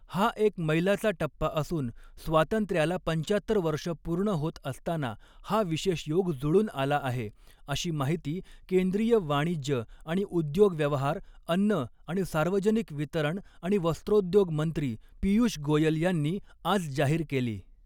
हा एक मैलाचा टप्पा असून स्वातंत्र्याला पंचात्तर वर्ष पूर्ण होत असताना हा विशेष योग जुळून आला आहे अशी माहिती केंद्रीय वाणिज्य आणि उद्योग व्यवहार, अन्न आणि सार्वजनिक वितरण आणि वस्त्रोद्योग मंत्री पीयूष गोयल यांनी आज जाहीर केली.